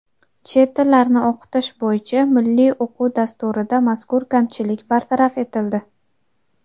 Chet tillarni o‘qitish bo‘yicha Milliy o‘quv dasturida mazkur kamchilik bartaraf etildi.